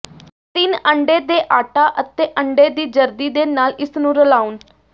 ਤਿੰਨ ਅੰਡੇ ਦੇ ਆਟਾ ਅਤੇ ਅੰਡੇ ਦੀ ਜ਼ਰਦੀ ਦੇ ਨਾਲ ਇਸ ਨੂੰ ਰਲਾਉਣ